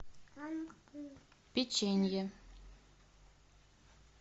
печенье